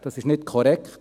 Es ist nicht korrekt.